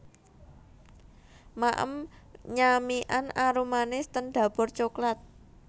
Maem nyamikan arumanis ten Dapur Coklat